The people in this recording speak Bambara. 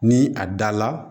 Ni a da la